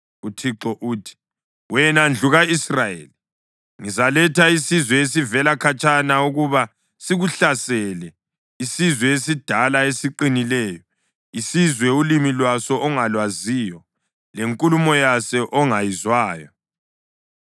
UThixo uthi, “Wena ndlu ka-Israyeli, ngizaletha isizwe esivela khatshana ukuba sikuhlasele, isizwe esidala esiqinileyo, isizwe ulimi lwaso ongalwaziyo, lenkulumo yaso ongayizwayo.